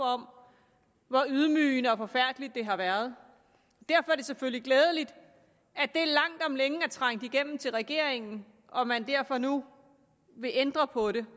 om hvor ydmygende og forfærdelige det har været derfor er det selvfølgelig glædeligt at det langt om længe er trængt igennem til regeringen og at man derfor nu vil ændre på det